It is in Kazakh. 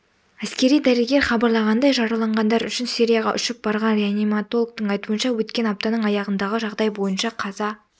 әскери дәрігер хабарлағандай жараланғандар үшін сирияға ұшып барған реаниматологтың айтуынша өткен аптаның аяғындағы жағдай бойынша қаза